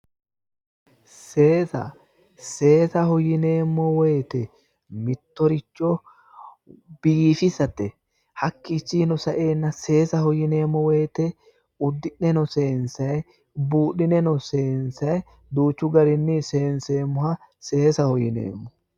Seesa, seesaho yineemmo woyte mittoricho biifisate, hakkiicjinino saeenna seesaho yineemmo woyte udi'neeno seensay buudhi'nenno seensay duuchu garinni seenseemmoha seessaho yineemmo